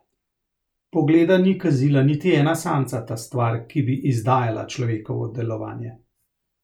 Pogleda ni kazila niti ena samcata stvar, ki bi izdajala človekovo delovanje.